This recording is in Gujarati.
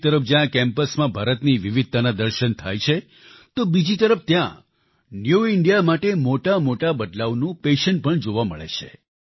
એક તરફ જ્યાં આ કેમ્પસમાં ભારતની વિવિધતાના દર્શન થાય છે તો બીજી તરફ ત્યાં ન્યૂ ઇન્ડિયા માટે મોટામોટા બદલાવનું પેશન પણ જોવા મળે છે